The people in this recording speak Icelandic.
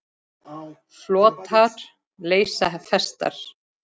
Flotar leysa festar.